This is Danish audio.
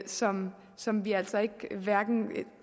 som som vi altså ikke